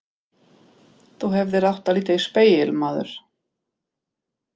Þú hefðir átt að líta í spegil, maður!